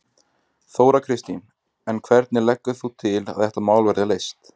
Þóra Kristín: En hvernig leggur þú til að þetta mál verði leyst?